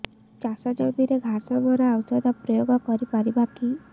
ଚାଷ ଜମିରେ ଘାସ ମରା ଔଷଧ ପ୍ରୟୋଗ କରି ପାରିବା କି